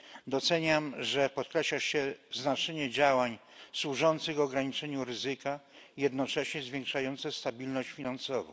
Doceniam, że podkreśla się znaczenie działań służących ograniczeniu ryzyka i jednocześnie zwiększających stabilność finansową.